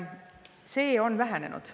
See on nüüd vähenenud.